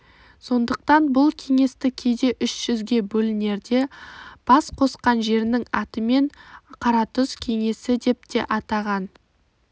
сондықтан бұл кеңесті кейде үш жүзге бөлінерде бас қосқан жерінің атымен қаратұз кеңесідеп те атаған